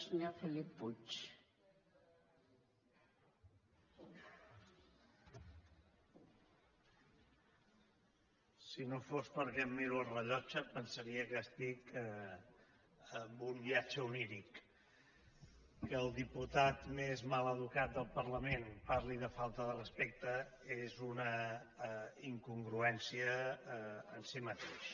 si no fos perquè em miro el rellotge pensaria que estic en un viatge oníric que el diputat més mal educat del parlament parli de falta de respecte és una incon·gruència en si mateix